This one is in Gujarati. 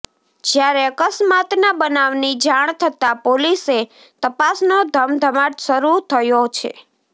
જ્યારે અકસ્માતના બનાવની જાણ થતા પોલીસે તપાસનો ધમધમાટ શરૂ થયો છે